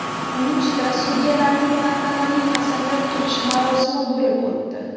Nukusda sudyalarning tantanali qasamyod qilish marosimi bo‘lib o‘tdi.